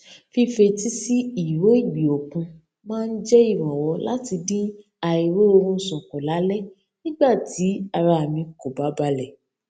fífetísí ìró ìgbì òkun máa ń jẹ ìrànwọ láti dín àìróorunsùn kù lálé nígbà tí ara mi kò bá balẹ